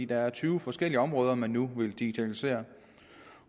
der er tyve forskellige områder man nu vil digitalisere